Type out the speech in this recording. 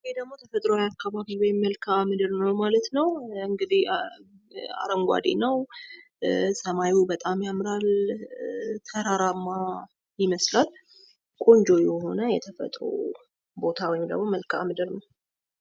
ይህ ደግሞ ተፈጥሯዊ አካባቢ ወይም መልካምድር ነው ማለት ነው ። እንግዲህ አረንጓዴ ነው ሰማዩ በጣም ያምራል ተራራማ ይመስላል ቆንጆ የሆነ የተፈጥሮ ቦታ ወይም ደግሞ መልካምድር ነው ።